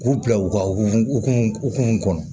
K'u bila u ka hukumu kɔnɔ